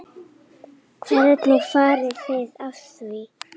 Hvernig farið þið að því?